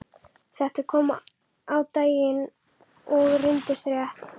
Þetta kom á daginn og reyndist rétt.